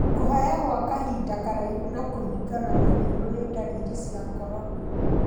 Kũhaya gwa kahinda karaihu na kũhingana maniũrĩũ nĩ ndariri cia corona.